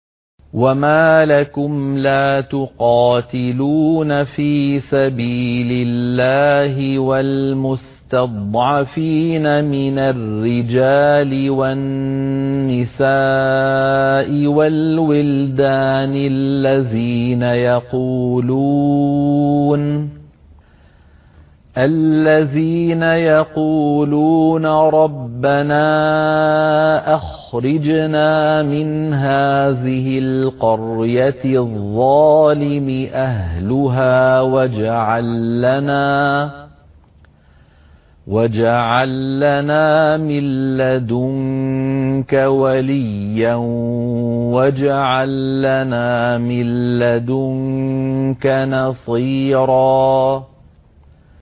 وَمَا لَكُمْ لَا تُقَاتِلُونَ فِي سَبِيلِ اللَّهِ وَالْمُسْتَضْعَفِينَ مِنَ الرِّجَالِ وَالنِّسَاءِ وَالْوِلْدَانِ الَّذِينَ يَقُولُونَ رَبَّنَا أَخْرِجْنَا مِنْ هَٰذِهِ الْقَرْيَةِ الظَّالِمِ أَهْلُهَا وَاجْعَل لَّنَا مِن لَّدُنكَ وَلِيًّا وَاجْعَل لَّنَا مِن لَّدُنكَ نَصِيرًا